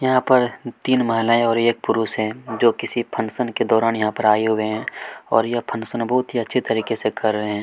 यहाँ पर तीन महिलाएं और एक पुरुष है जो किसी फंक्शन के दौरान यहाँ पर आए हुए हैं और यह फंक्शन बहुत ही अच्छे तरीके से कर रहे हैं।